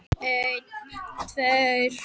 Hann leysti slaufuna og stakk spottanum í vasann.